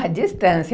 à distância.